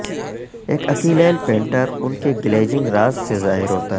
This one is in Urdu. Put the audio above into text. ایک اکیلیل پینٹر ان کی گلیجنگ راز سے ظاہر ہوتا ہے